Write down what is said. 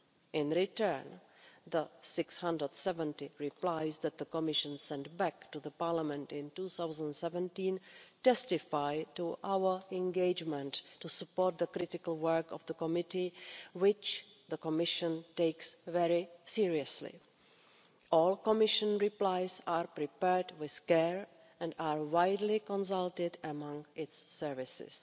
In return, the 670 replies that the Commission sent back to the Parliament in 2017 testify to our engagement to support the critical work of the committee, which the Commission takes very seriously. All Commission replies are prepared with care and are widely consulted upon among its services.